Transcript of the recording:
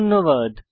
ধন্যবাদ